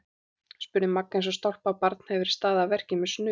spurði Magga eins og stálpað barn hefði verið staðið að verki með snuð.